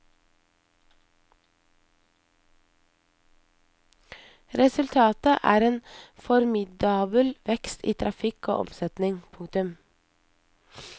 Resultatet er en formidabel vekst i trafikk og omsetning. punktum